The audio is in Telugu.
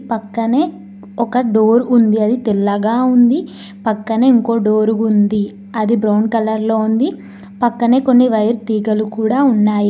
పక్కనే ఒక డోర్ ఉంది అది తెల్లగా ఉంది పక్కనే ఇంకో డోర్ ఉంది అది బ్రౌన్ కలర్ లో ఉంది పక్కనే కొన్ని వైర్ తీగలు కూడా ఉన్నాయి.